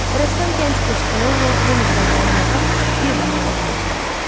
Rəssam gənc dostunu Lord Henridən ayırmağa bir daha cəhd göstərdi.